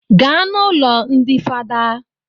Gaa n'ụlọ ndi fada